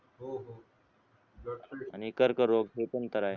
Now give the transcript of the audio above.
आणि कर्क रोग हे पण तर आहे